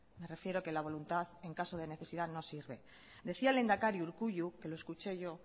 me refiero que la voluntad en caso de necesidad no sirven decía el lehendakari urkullu que lo escuché yo